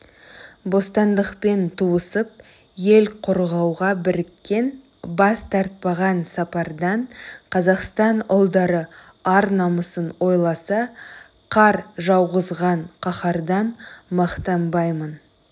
бостандықпен туысып ел қорғауға біріккен бас тартпаған сапардан қазақстан ұлдары ар-намысын ойласа қар жауғызған қаһардан мақтанбаймын